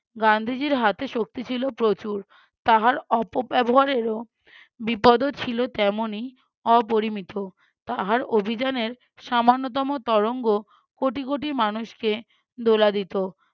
গান্ধীজির হাতে শক্তি ছিল প্রচুর তাহার অপব্যবহারেরও বিপদও ছিল তেমনি অপরিমিত। তাহার অভিযানের সামান্যতম তরঙ্গ কোটি কোটি মানুষকে দোলা দিতো